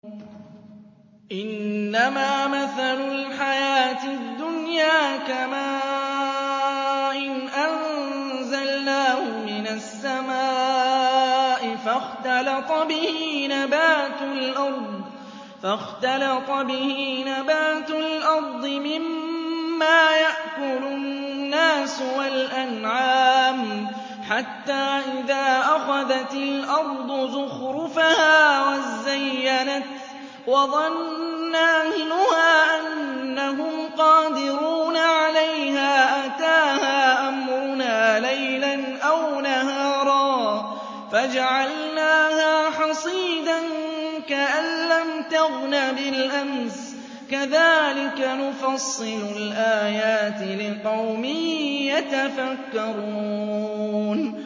إِنَّمَا مَثَلُ الْحَيَاةِ الدُّنْيَا كَمَاءٍ أَنزَلْنَاهُ مِنَ السَّمَاءِ فَاخْتَلَطَ بِهِ نَبَاتُ الْأَرْضِ مِمَّا يَأْكُلُ النَّاسُ وَالْأَنْعَامُ حَتَّىٰ إِذَا أَخَذَتِ الْأَرْضُ زُخْرُفَهَا وَازَّيَّنَتْ وَظَنَّ أَهْلُهَا أَنَّهُمْ قَادِرُونَ عَلَيْهَا أَتَاهَا أَمْرُنَا لَيْلًا أَوْ نَهَارًا فَجَعَلْنَاهَا حَصِيدًا كَأَن لَّمْ تَغْنَ بِالْأَمْسِ ۚ كَذَٰلِكَ نُفَصِّلُ الْآيَاتِ لِقَوْمٍ يَتَفَكَّرُونَ